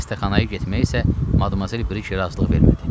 Xəstəxanaya getməyə isə Madmazel Brije razılıq vermədi.